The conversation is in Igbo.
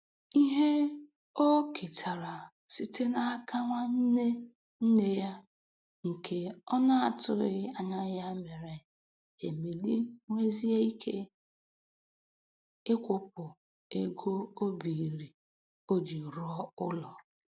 Ihe o ketara site n'aka nwanne nne ya nke ọ na-atụghị anya ya mere Emily nwezie ike ịkwụpụ ego o biiri o ji rụọ ụlọ.